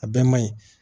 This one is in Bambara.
A bɛɛ man ɲi